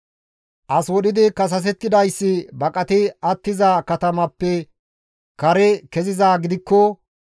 « ‹As wodhidi kasasetidayssi baqati attiza katamaappe kare kezizaa gidikko,